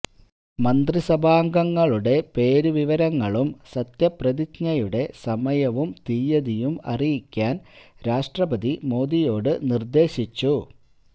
മന്ത്രിസഭാംഗങ്ങളുടെ പേരുവിവരങ്ങളും സത്യപ്രതിജ്ഞയുടെ സമയവും തിയതിയും അറിയിക്കാന് രാഷ്ട്രപതി മോദിയോട് നിര്ദേശിച്ചു